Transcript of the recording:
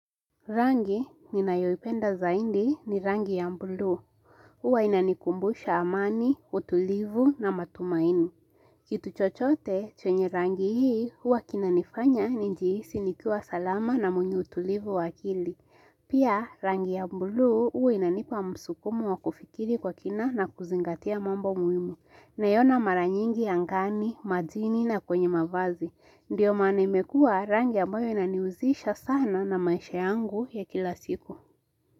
Rangi ninayoipenda zaidi ni rangi ya buluu. Huwa inanikumbusha amani, utulivu na matumaini. Kitu chochote chenye rangi hii huwa kinanifanya nijihisi nikiwa salama na mwenye utulivu wa akili. Pia rangi ya buluu huwa inanipa msukumo wa kufikiri kwa kina na kuzingatia mambo muhimu. Naiona mara nyingi angani, majini na kwenye mavazi. Ndiyo maana imekua rangi ambayo inanihusisha sana na maisha yangu ya kila siku.